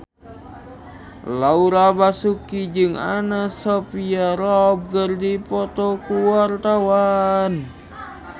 Laura Basuki jeung Anna Sophia Robb keur dipoto ku wartawan